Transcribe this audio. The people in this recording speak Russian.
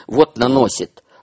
вот наносит